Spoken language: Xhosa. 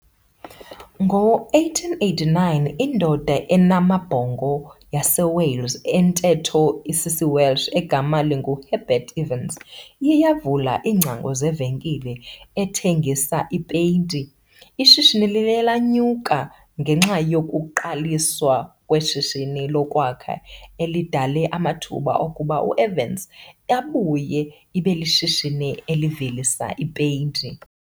Ngo-1889, indoda enamabhongo yaseWales entetho isisiWelsh, egama linguHerbert Evans iye yavula iingcango zevenkile ethengisa ipeyinti. Ishishini liye lenyuka ngenxa yokuqaliswa kweshishini lokwakha elidale amathuba okuba i-Evans ibuye ibe lishishini elivelisa ipeyinti.